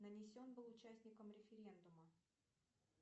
нанесен был участником референдума